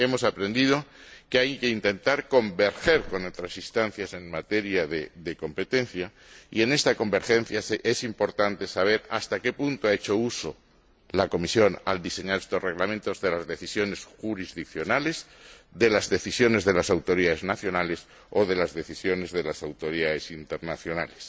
Hemos aprendido que hay que intentar converger con otras instancias en materia de competencia y en esta convergencia es importante saber hasta qué punto ha hecho uso la Comisión, al diseñar estos Reglamentos, de las decisiones jurisdiccionales, de las decisiones de las autoridades nacionales o de las decisiones de las autoridades internacionales.